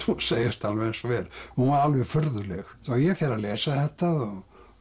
segjast alveg eins og er hún var alveg furðuleg svo ég fer að lesa þetta og